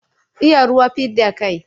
Iya ruwa fidda kai.